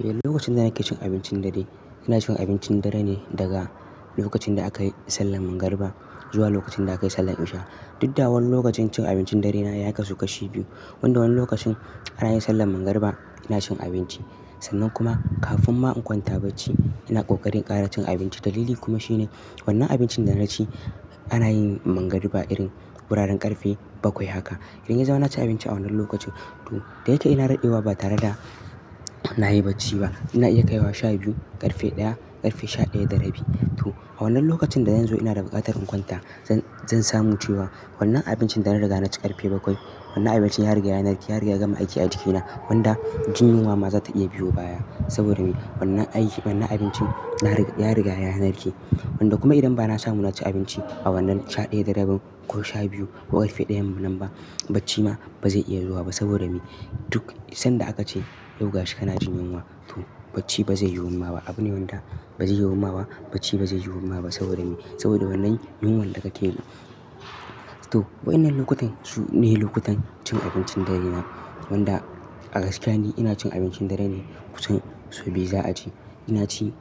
Ehh, lokacin da nake cin abincin dare, ina cin abincin dare ne daga lokacin da aka yi sallan mangarba zuwa lokacin da aka yi sallan nisha. Duk da wani lokacin cin abincin dare na ya kasu kashi biyu. Wanda wani lokacin ana yin sallan mangarba ina cin abinci. Sannan kuma kafin ma in kwanta bacci ina ƙoƙarin ƙara cin abinci. Dalili kuma shine wannan abincin da na ci ana yin mangarba irin wuraren ƙarfe bakwai haka. Idan ya zauna na ci abinci a wannan lokacin to da yawa ina dadewa ba tare da na yi bacci ba. Ina iya kaiwa sha biyu, ƙarfe ɗaya, ƙarfe sha ɗaya da rabi. To a wannan lokacin da yanzu ina da buƙatar in kwanta zan, zan samu cewa wannan abincin da na riga na ci ƙarfe bakwai wannan abincin ya riga ya narke, ya riga ya gama aiki a jikina wanda jin yunwa ma za ta iya biyo baya. Saboda me? Wannan aiki wannan abincin na rig-ya riga ya narke wanda kuma idan ba na samu na ci abinci a wannan sha ɗaya da rabi ko sha biyu ko ƙarfe ɗayan mu nan ba bacci ma ba zai iya zuwa ba saboda me? Duk sanda aka ce "sauga shi ka na jin yunwa" to bacci ba zai yiwu ma ba. Abune wanda ba zai yiwu ma ba bacci ba zai yiwu ma ba saboda me? Saboda wannan yunwan da ka ke ji. To waɗannan lokutan su ne lokutan cin abincin dare na wanda a gaskiya ne ina cin abincin dare ne kusan sau biyu za a ci. Ina ci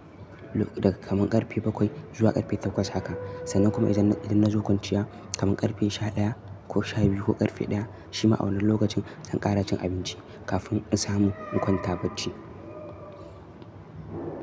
lo-daga kaman ƙarfe bakwai zuwa ƙarfe takwas haka. Sannan kuma idan, idan na zo kwanciya kaman ƙarfe sha ɗaya ko sha biyu ko ƙarfe ɗaya shi ma a wannan lokacin zan ƙara cin abinci kafin in samu in kwanta bacci.